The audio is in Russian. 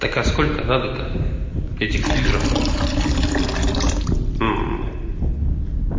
сколько надо то этих фильтров